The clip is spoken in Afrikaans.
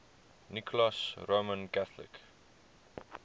nicholas roman catholic